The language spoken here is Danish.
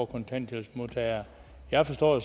kontanthjælpsmodtagere jeg forstår